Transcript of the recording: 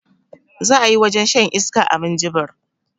Za ayi wajen shan iska a minjibir